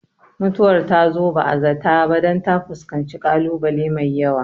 Mutuwar ta zo ba zata ba dan ta fuskanci kalu bale mai yawa